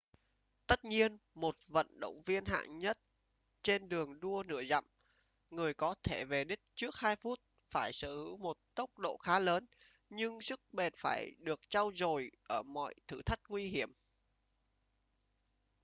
tất nhiên một vận động viên hạng nhất trên đường đua nửa dặm người có thể về đích trước hai phút phải sở hữu một tốc độ khá lớn nhưng sức bền phải được trau dồi ở mọi thử thách nguy hiểm